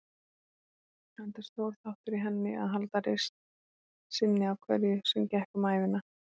Enda stór þáttur í henni að halda reisn sinni á hverju sem gekk um ævina.